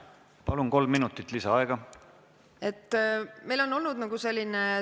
Palun, kolm minutit lisaaega!